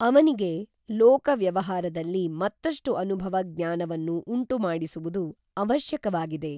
ಅವನಿಗೆ ಲೋಕ ವ್ಯವಹಾರದಲ್ಲಿ ಮತ್ತಷ್ಟು ಅನುಭವ ಜ್ಞಾನವನ್ನು ಉಂಟುಮಾಡಿಸುವುದು ಅವಶ್ಯಕವಾಗಿದೆ